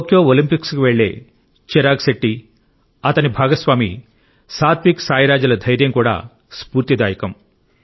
Tokyo ఒలింపిక్స్కు వెళ్ళే చిరాగ్ శెట్టి అతని భాగస్వామి సాత్విక్ సాయిరాజ్ ల ధైర్యం కూడా స్ఫూర్తిదాయకం